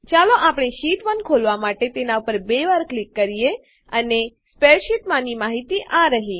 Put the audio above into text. ચાલો આપણે શીટ1 ખોલવાં માટે તેના પર બે વાર ક્લિક કરીએ અને સ્પ્રેડશીટમાંની માહિતી આ રહ્યી